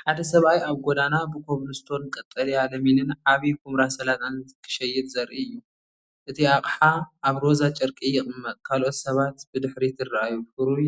ሓደ ሰብኣይ ኣብ ጎደና ብኮብልስቶን ቀጠልያ ለሚንን ዓቢ ኵምራ ሰላጣን ክሸይጥ ዘርኢ እዩ። እቲ ኣቕሓ ኣብ ሮዛ ጨርቂ ይቕመጥ። ካልኦት ሰባት ብድሕሪት ይረኣዩ። ፍሩይ